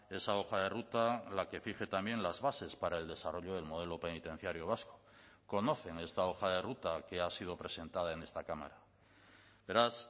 esa hoja de ruta la que fije también las bases para el desarrollo del modelo penitenciario vasco conocen esta hoja de ruta que ha sido presentada en esta cámara beraz